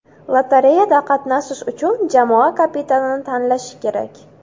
Lotereyada qatnashish uchun jamoa kapitanini tanlashi kerak.